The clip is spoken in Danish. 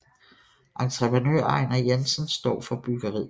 Entreprenør Ejnar Jensen står for byggeriet